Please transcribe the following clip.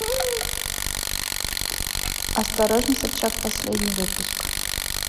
осторожно собчак последний выпуск